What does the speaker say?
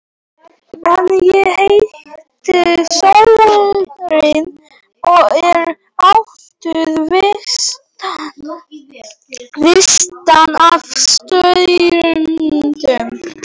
En ég heiti Sólrún og er ættuð vestan af Ströndum.